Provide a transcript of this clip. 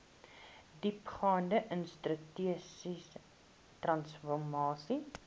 diepgaande institusionele transformasie